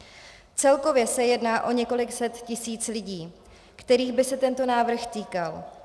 Celkově se jedná o několik set tisíc lidí, kterých by se tento návrh týkal.